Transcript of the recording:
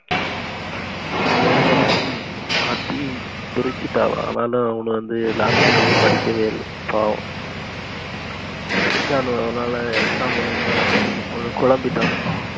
அவனோலா அடி அடி பிரிச்சிட்டாங்க ஆனாலு அவனுங்க வந்து last வரளையும் படிக்கவே இல்ல பாவம் படிச்சானுவோ ஆனா exam எழுத அவனுங்க கொழம்பிட்டானுவ